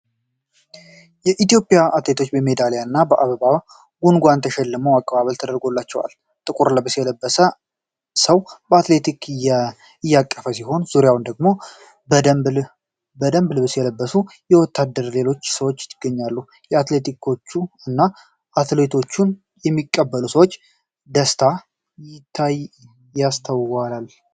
የኢትዮጵያ አትሌቶች በሜዳሊያና በአበባ ጉንጉን ተሸልመው አቀባበል ተደርጎላቸዋል። ጥቁር ልብስ የለበሰ ሰው አትሌቶችን እያቀፈ ሲሆን፣ ዙሪያውን ደግሞ የደንብ ልብስ የለበሱ ወታደሮችና ሌሎች ሰዎች ይገኛሉ። ከአትሌቶቹ እና አትሌቶቹን ከሚቀበሉት ሰዎች ደስታ ይስተዋላል።